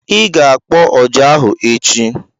I ga-akpọ ọjà ahụ echi!